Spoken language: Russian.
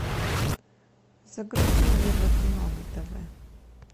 загрузи евро кино на тв